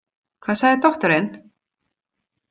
Hvað sagði doktorinn?